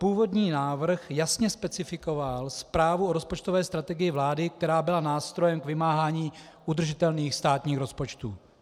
Původní návrh jasně specifikoval zprávu o rozpočtové strategii vlády, která byla nástrojem k vymáhání udržitelných státních rozpočtů.